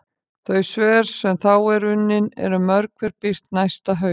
Þau svör sem þá eru unnin eru mörg hver birt næsta haust.